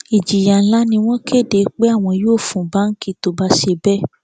ìjìyà ńlá ni wọn kéde pé àwọn yóò fún báǹkì tó bá ń ṣe bẹẹ